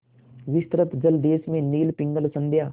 विस्तृत जलदेश में नील पिंगल संध्या